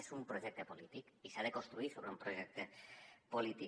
és un projecte polític i s’ha de construir sobre un projecte polític